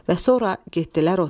Və sonra getdilər otağa.